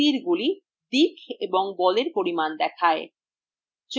তীরগুলি দিক এবং বলের পরিমাণ দেখায়